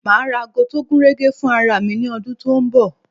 Ma ra ago tó gúnrégé fún ara mi ní ọdún tó ń bọ̀